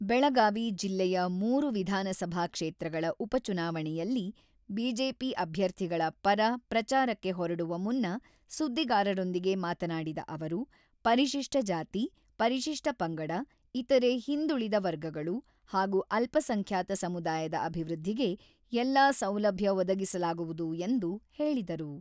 ಬೆಳಗಾವಿ ಜಿಲ್ಲೆಯ ಮೂರು ವಿಧಾನಸಭಾ ಕ್ಷೇತ್ರಗಳ ಉಪಚುನಾವಣೆಯಲ್ಲಿ ಬಿಜೆಪಿ ಅಭ್ಯರ್ಥಿಗಳ ಪರ ಪ್ರಚಾರಕ್ಕೆ ಹೊರಡುವ ಮುನ್ನ ಸುದ್ದಿಗಾರರೊಂದಿಗೆ ಮಾತನಾಡಿದ ಅವರು, ಪರಿಶಿಷ್ಟ ಜಾತಿ, ಪರಿಶಿಷ್ಟ ಪಂಗಡ, ಇತರೆ ಹಿಂದುಳಿದ ವರ್ಗಗಳು ಹಾಗೂ ಅಲ್ಪಸಂಖ್ಯಾತ ಸಮುದಾಯದ ಅಭಿವೃದ್ಧಿಗೆ ಎಲ್ಲ ಸೌಲಭ್ಯ ಒದಗಿಸಲಾಗುವುದು ಎಂದು ಹೇಳಿದರು.